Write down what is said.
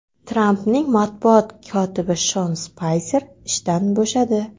Trampning matbuot kotibi Shon Spayser ishdan bo‘shadi.